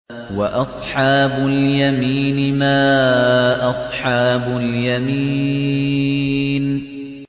وَأَصْحَابُ الْيَمِينِ مَا أَصْحَابُ الْيَمِينِ